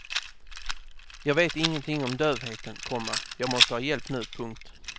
Jag vet ingenting om dövheten, komma jag måste ha hjälp nu. punkt